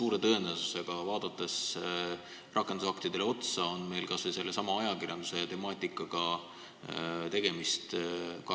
Rakendusaktidele otsa vaadates võib öelda, et meil on suure tõenäosusega ka seal tegemist kas või sellesama ajakirjanduse temaatikaga.